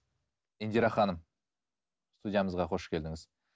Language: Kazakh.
индира ханым студиямызға қош келдіңіз